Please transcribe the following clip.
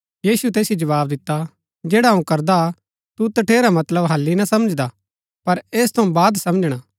यीशुऐ तैसिओ जवाव दिता जैडा अऊँ करदा तू तठेरा मतलब हालि ना समझदा पर ऐस थऊँ बाद समझणा